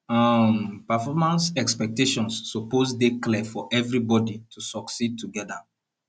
um performance expectations suppose dey clear for everybody to succeed together